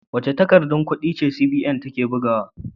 Wace takardar kudi CBN take bugawa?